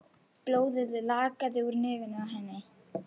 Blóðið lagaði úr nefinu á henni.